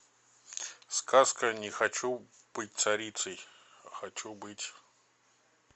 сказка не хочу быть царицей а хочу быть